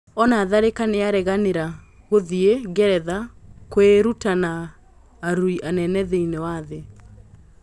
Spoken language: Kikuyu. Ona Tharĩ ka nĩ areganĩ ra gũthiĩ Ngeretha kũĩ ruta na arũi anene thĩ iniĩ wa thĩ .